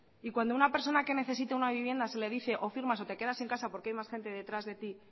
y cuando a una persona que necesita una vivienda se le dice o firmas o te quedas sin casa porque hay más gente detrás de ti